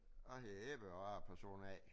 Jeg hedder Ebbe og er person A